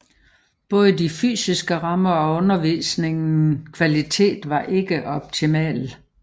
Både de fysiske rammer og undervisningen kvalitet var ikke optimal